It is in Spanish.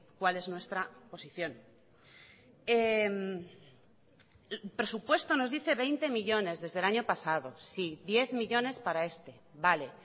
cuál es nuestra posición el presupuesto nos dice veinte millónes desde el año pasado sí diez millónes para este vale